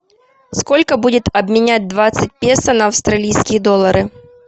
сколько будет обменять двадцать песо на австралийские доллары